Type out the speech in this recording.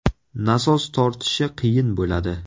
Nasos tortishi qiyin bo‘ladi.